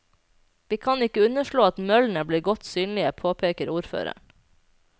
Vi kan ikke underslå at møllene blir godt synlige, påpeker ordføreren.